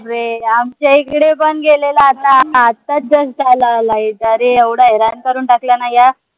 रे आमच्या इकडे पण गेलेले आता आताच just आलाय light अरे एवढं हैराण करून टाकलंय न या